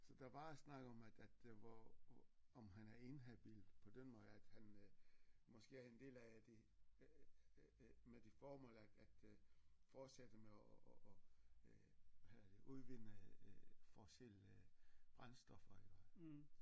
Så der var snak om at at det var om han er inhabil på den måde at han øh måske er en del af det øh med det formål at at øh fortsætte med at at at øh have udvinde øh fossile brændstoffer iggå